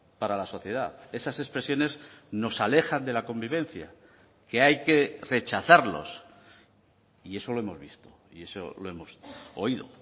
para la sociedad esas expresiones nos alejan de la convivencia que hay que rechazarlos y eso lo hemos visto y eso lo hemos oído